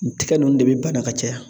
Tɛgɛ ninnu de bɛ bana ka caya